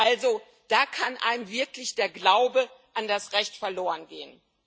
Also da kann einem wirklich der Glaube an das Recht verloren gehen.